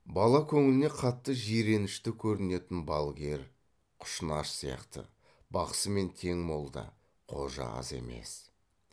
бала көңіліне қатты жиренішті көрінетін балгер құшынаш сияқты бақсымен тең молда қожа аз емес